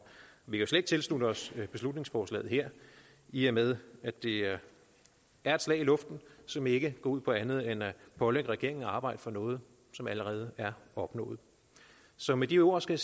vi kan slet ikke tilslutte os beslutningsforslaget her i og med at det er et slag i luften som ikke går ud på andet end at pålægge regeringen at arbejde for noget som allerede er opnået så med de ord skal